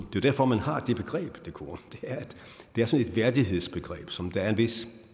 jo derfor man har det begreb decorum det er sådan et værdighedsbegreb som der er et vist